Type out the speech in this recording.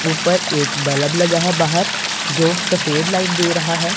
ऊपर एक बलब लगा है बाहर जो सफेद लाइट दे रहा है।